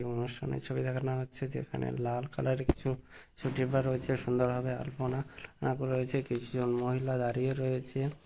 ছবি দেখানো হচ্ছে যেখানে লাল কালার এর কিছু সুটিপা রয়েছে সুন্দরভাবে আলপনা রয়েছে কিছু জন মহিলা দাঁড়িয়ে রয়েছে ।